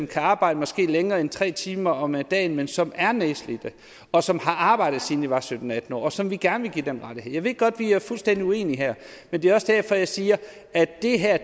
kan arbejde længere end tre timer om dagen men som er nedslidte og som har arbejdet siden de var sytten til atten år og som vi gerne vil give den rettighed jeg ved godt at vi er fuldstændig uenige her men det er også derfor jeg siger at det her